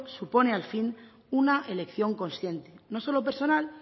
supone al fin una elección consciente no solo personal